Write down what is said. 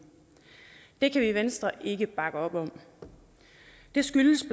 det kan vi i venstre ikke bakke op om det skyldes